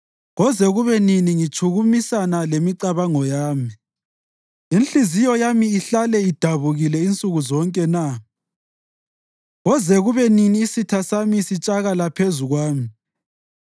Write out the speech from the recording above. Koze kube nini ngitshukumisana lemicabango yami, inhliziyo yami ihlale idabukile insuku zonke na? Koze kube nini isitha sami sitshakala phezu kwami?